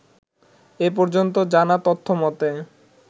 এপর্যন্ত জানা তথ্যমতে